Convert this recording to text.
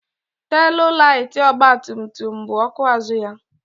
Teelụ laiti ọgba tum tum bụ ọkụ azụ ya.